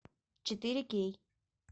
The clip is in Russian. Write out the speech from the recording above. четыре кей